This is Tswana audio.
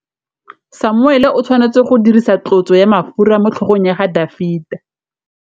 Samuele o tshwanetse go dirisa tlotsô ya mafura motlhôgong ya Dafita.